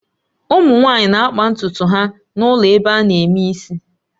Ụmụ nwanyị na-akpa ntutu ha n'ụlọ ebe ana eme isi